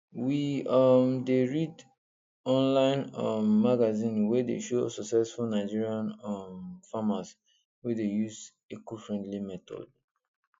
we um dey read online um magazine wey dey show successful nigerian um farmers wey dey use ecofriendly method